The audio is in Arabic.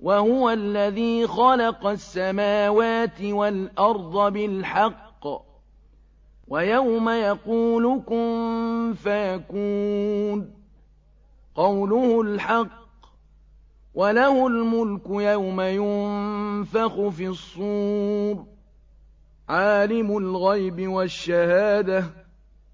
وَهُوَ الَّذِي خَلَقَ السَّمَاوَاتِ وَالْأَرْضَ بِالْحَقِّ ۖ وَيَوْمَ يَقُولُ كُن فَيَكُونُ ۚ قَوْلُهُ الْحَقُّ ۚ وَلَهُ الْمُلْكُ يَوْمَ يُنفَخُ فِي الصُّورِ ۚ عَالِمُ الْغَيْبِ وَالشَّهَادَةِ ۚ